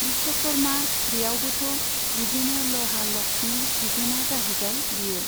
बिस्व'कर्मा बेयावबोथ' बिदिनो लहा लक्सनि बिगोमा जाहैबाय बियो।